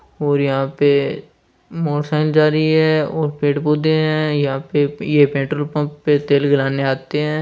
और यहाँ पे मोटरसाइकिल जहा रही है पेड़ पौधे है और यहाँ पर पेट्रोल पम्प पर तेल गलाने आते है।